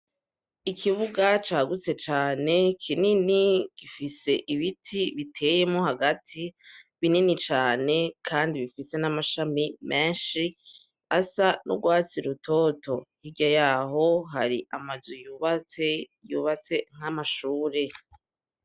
Ikibuga cagutse cane kinini gifise ibiti biteyemwo hagati binini cane kandi bifise n'amashami menshi asa n'urwatsi rutoto, hirya y'aho hari amazu yubatse, yubatse nk'amashure.